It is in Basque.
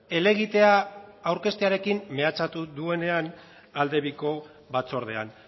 helegitea aurkeztearekin mehatxatu duenean aldebiko batzordean